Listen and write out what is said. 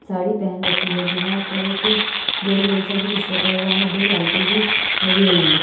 साड़ी पहन रखी है दीवार पर एक गोल-गोल सा भी कुछ लगा हुआ है दो लाइटें भी लगी हुई हैं।